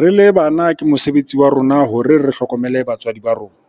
Re le bana, ke mosebetsi wa rona hore re hlokomele batswadi ba rona.